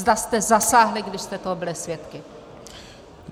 Zda jste zasáhli, když jste toho byli svědky.